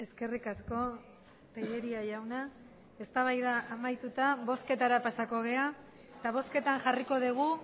eskerrik asko tellería jauna eztabaida amaituta bozketara pasako gara eta bozketan jarriko dugu